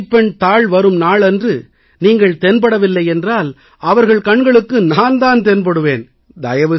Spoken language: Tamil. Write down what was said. உங்கள் மதிப்பெண் தாள் வரும் நாள் அன்று நீங்கள் தென்படவில்லை என்றால் அவர்கள் கண்களுக்கு நான் தான் தென்படுவேன்